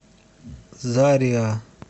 зариа